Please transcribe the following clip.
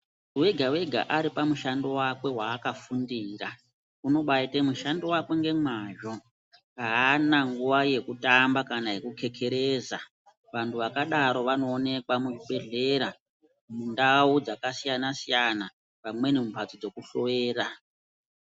Wega wega ari pamushando wakwe wa aka fundira unobaite mishando wake ngemazvo aana nguva yeku tamba kana yeku kekereza vantu vakadaro vanoonekwa muzvi bhedhlera mundau dzaka siyana siyana vamweni mu mbatso dzeku dhloyera.